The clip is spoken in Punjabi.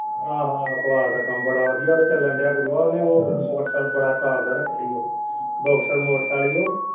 ਆਹੋ ਆਹੋ ਕਬਾੜ ਦਾ ਕੰਮ ਬੜਾ ਵਧੀਆ ਚੱਲਣ ਡੇਆ ਗੁਰੂਆ ਓਹਨੇ ਉਹ motorcycle ਬੜਾ top ਦਾ ਰਖਿਆ ਹੀ ਉਹ ਬੋਕ੍ਸਰ motorcycle ਸੀ ਉਹ।